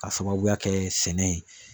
K'a sababuya kɛ sɛnɛ ye.